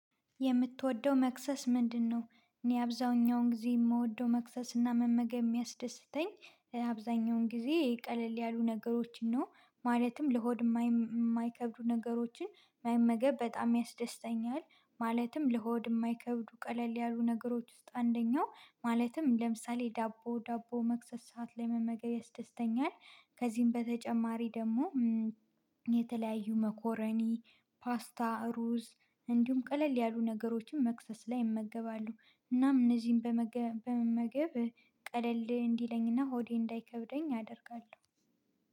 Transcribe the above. የምትወደው መክሰስ ምንድነው? እኔ አብዛኛውን ጊዜ የምወደው መክሰስ እና መመገብ የሚያስደስተኝ አብዛኛውን ጊዜ ቀለል ያሉ ነገሮችን ነው። ማለትም ለሆድ ማይከብዱ ነገሮችን መመገብ በጣም ያስደስተኛል። ማለትም ለሆድ ማይከብዱ ቀለል ያሉ ነገሮች ውስጥ አንደኛው ማለትም ለምሳሌ ዳቦ ዳቦ መክሰስ ሰዓት ላይ መመገያ ያስደስተኛል። ከዚህም በተጨማሪ ደግሞ የተለያዩ መኮረኒ፣ ፓስታ፣ ሩዝ እንዲሁም ቀለል ያሉ ነገሮችን መክሰስ ላይ እመገባለሁ። እናም እነዚህን በመመገብ ቀለል እንዲለኝና ሆዴ እንዳይከብደኝ አደርጋለሁ።